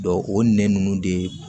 o nɛn ninnu de